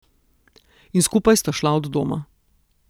In skupaj sta šla od doma.